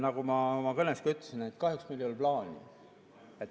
Nagu ma oma kõnes ka ütlesin, kahjuks meil ei ole plaani.